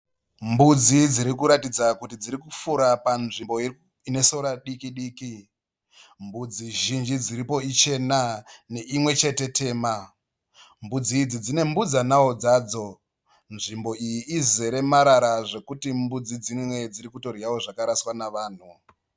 Mbudzi dzirikuratidza kuti dzirikufura panzvimbo ine sora diki diki. Mbudzi zhinji dziripo ichena neinwe chete tema. Mbudzi idzi dzine mbudzanawo dzadzo. Nzvimbo iyi izerewo namarara zvekuita mbudzi dzimwe dziri kutodyawo zvakaraswa nevanhu.